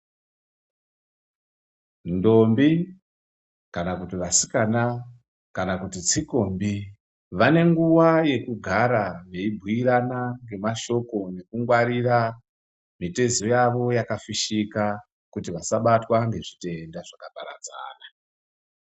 Ntombi kana kuti vasikana kana kuti tsikombi vane nguva yekugara veibhuyirana ngemashoko ekungwarira mitezo yavo yakafushika kuti vasabatwa ngezvitenda zvakaparadzana.